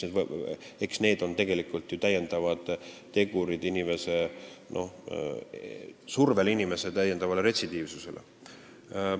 Need on ju täiendavad tegurid, mis survestavad inimest retsidiivsusele.